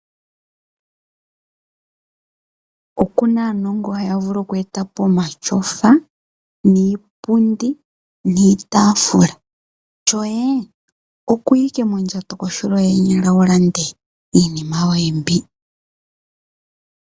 Okuna aanongo haya vulu okweetapo omatyofa, iipundi, niitafula. Shoye okuya owala okuya mondjato kohulo yeenyala, opo wu vule okulanda iinima yoye mbi.